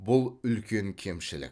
бұл үлкен кемшілік